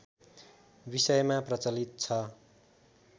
विषयमा प्रचलित छ